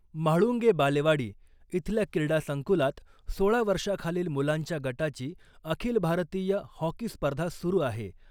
म्हाळुंगे बालेवाडी इथल्या क्रीडासंकुलात सोळा वर्षाखालील मुलांच्या गटाची अखिल भारतीय हॉकी स्पर्धा सुरु आहे .